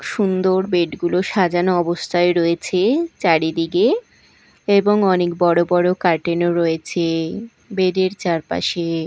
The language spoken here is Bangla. সুন্দর বেড -গুলো সাজানো অবস্থায় রয়েছে চারিদিকে এবং অনেক বড় বড় কার্টেন ও রয়েছে বেড -এর চারপাশে।